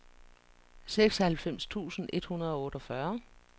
seksoghalvfems tusind et hundrede og otteogfyrre